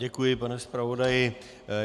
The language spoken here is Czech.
Děkuji, pane zpravodaji.